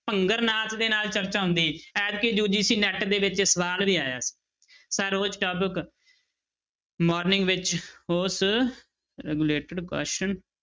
ਭੰਗਰਨਾਥ ਦੇ ਨਾਲ ਚਰਚਾ ਹੁੰਦੀ ਐਤਕੀ UGCNET ਦੇ ਵਿੱਚ ਇਹ ਸਵਾਲ ਵੀ ਆਇਆ morning ਵਿੱਚ ਉਸ related question